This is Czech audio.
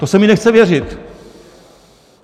To se mi nechce věřit.